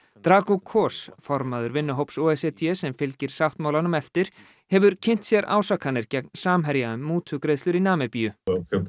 drago Kos formaður vinnuhóps o e c d sem fylgir sáttmálanum eftir hefur kynnt sér ásakanir gegn Samherja um mútugreiðslur í Namibíu